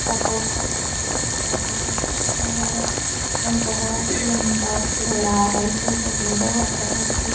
Hotel है hotel बोहोत ही बड़ा है और बोहोत ही लम्बा चोड़ा है। इस होटल में बहोत तरह के --